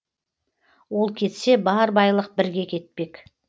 ол кетсе бар байлық бірге кетпек